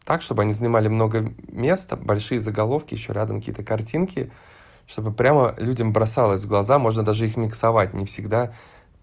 так чтобы они занимали много места большие заголовки ещё рядом какие-то картинки чтобы прямо людям бросалось в глаза можно даже их миксовать не всегда